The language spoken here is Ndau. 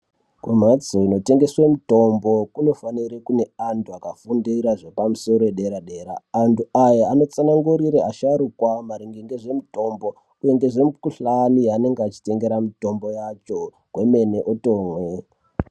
Kumhatso inotengeswa mutombo kunofanira kune antu akafundira zvepamusoro yedera-dera. Antu aya anotsana ngurira asharuka maringe ngezvemitombo, uye nezvemikuhlani yanenge echitengera mitombo yacho kwemene otomwe.